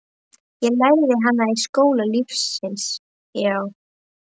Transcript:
Ég lærði hana í skóla lífsins, já.